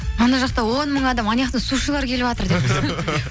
ана жақта оң мың адам аняқта сушилар келіп жатыр деп